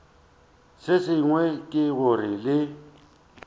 se sengwe ke gore le